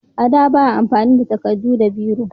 A da ba a amfani da takardu da biro